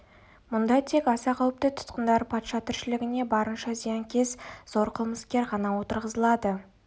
мұнда тек аса қауіпті тұтқындар патша тіршілігіне барынша зиянкес зор қылмыскер ғана отырғызылады